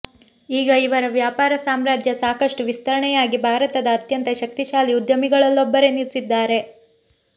ಈಗ ಇವರ ವ್ಯಾಪಾರ ಸಾಮ್ರಾಜ್ಯ ಸಾಕಷ್ಟು ವಿಸ್ತರಣೆಯಾಗಿ ಭಾರತದ ಅತ್ಯಂತ ಶಕ್ತಿಶಾಲಿ ಉದ್ಯಮಿಗಳಲ್ಲೊಬ್ಬರೆನಿಸಿದ್ದಾರೆ